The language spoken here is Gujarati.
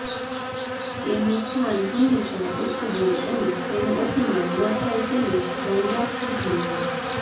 તેનું સ્થાન હંમેશા ઉચ્ચ હોય અને તેનું અપમાન ન થાય તેનું ધ્યાન રાખવું જોઈએ